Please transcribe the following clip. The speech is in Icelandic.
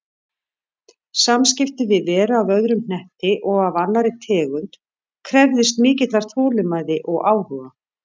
Samskipti við veru af öðrum hnetti og af annarri tegund krefðist mikillar þolinmæði og áhuga.